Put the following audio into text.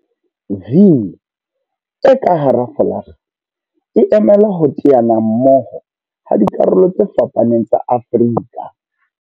V e ka hara folakga e emela ho teana mmoho ha dikarolo tse fapaneng tsa Afrika.